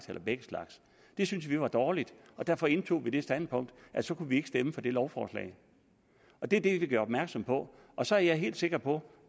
har begge slags det syntes vi var dårligt og derfor indtog vi det standpunkt at så kunne vi ikke stemme for det lovforslag og det er det vi gør opmærksom på og så er jeg helt sikker på